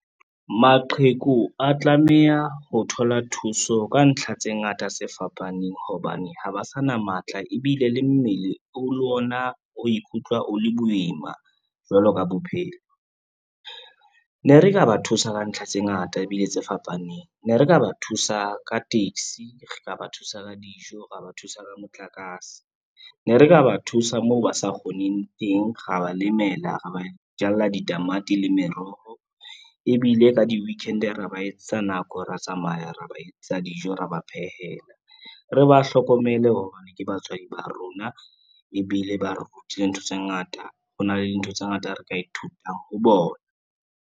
Maqheku a tlameha ho thola thuso ka ntlha tse ngata se fapaneng, hobane ha ba sa na matla ebile le mmele o le ona o ikutlwa o le boima jwalo ka bophelo. Ne re ka ba thusa ka ntlha tse ngata ebile tse fapaneng, ne re ka ba thusa ka taxi, re ka ba thusa ka dijo, ra ba thusa ka motlakase. Ne re ka ba thusa moo ba sa kgoneng teng, ra ba lemela, ra ba jalla ditamati le meroho ebile ka di-weekend ra ba etsetsa nako, ra tsamaya ra ba etsatsa dijo, ra ba phehela, re ba hlokomele hobane ke batswadi ba rona ebile ba re rutile ntho tse ngata, ho na le dintho tse ngata re ka ithuta ho bona.